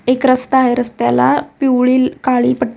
एक रस्ता आहे रस्त्याला पिवळी काळी पट --